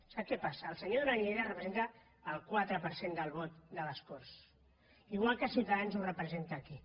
sap què passa el senyor duran lleida representa el quatre per cent del vot de les corts igual que ciutadans el representa aquí